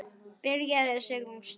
Byrjaðu Sigrún, strax.